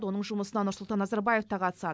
оның жұмысына нұрсұлтан назарбаев та қатысады